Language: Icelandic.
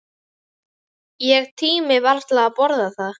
Ég tími varla að borða það.